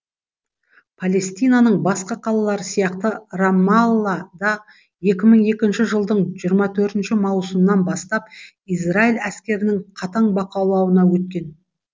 палестинаның басқа қалалары сияқты рамалла да екі мың екінші жылдың жиырма төртінші маусымнан бастап израиль әскерінің қатаң өткен